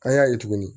An y'a ye tuguni